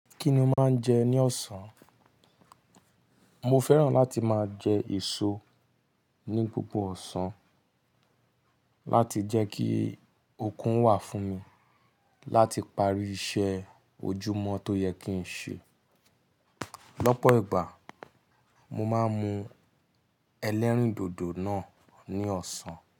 Kí ni o máa ń jẹ ní ọ̀sán? Mo fẹ́ràn láti máa jẹ èso ní gbogbo ọ̀sán láti jẹ́ kí okun wà fún mi láti parí iṣẹ́ ojúmọ̀ tó yẹ kí n ṣe. Lọ́pọ̀ ìgbà, mo máa ń mu ẹlẹ́rìndòdò náà ní ọ̀sán.